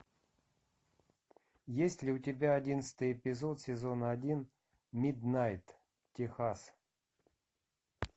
есть ли у тебя одиннадцатый эпизод сезона один миднайт техас